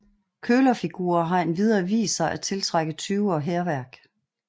Kølerfigurer har endvidere vist sig at tiltrække tyve og hærværk